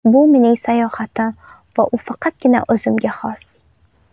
Bu mening sayohatim va u faqatgina o‘zimga xos.